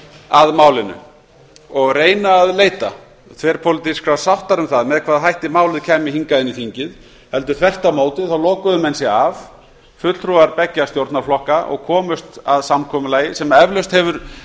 að málinu og reyna að leita þverpólitískrar sáttar um það með hvaða ætti málið kæmi inn í þingið heldur þvert á móti lokuðu menn sig af fulltrúar beggja stjórnarflokka og komust að samkomulagi sem eflaust hefur